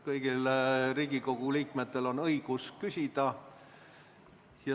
Kõigil Riigikogu liikmetel on õigus küsida.